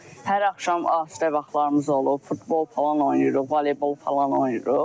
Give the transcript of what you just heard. Hər axşam asudə vaxtlarımız olub, futbol falan oynayırıq, voleybol falan oynayırıq.